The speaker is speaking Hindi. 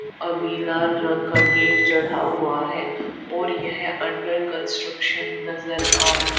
अभी लाल रंग का गेट चढ़ा हुआ है और यह अंडर कंस्ट्रक्शन नजर आ रही--